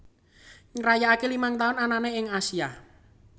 ngrayakake lima tahun anane ing Asia